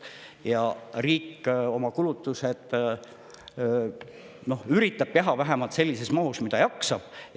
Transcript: Ja riik üritab oma kulutusi teha sellises mahus, nagu ta jaksab.